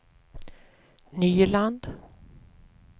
Nyland